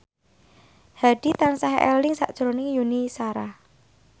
Hadi tansah eling sakjroning Yuni Shara